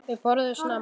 Þau borðuðu snemma.